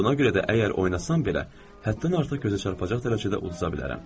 Buna görə də əgər oynasan belə, həddən artıq gözə çarpacaq dərəcədə uduza bilərəm.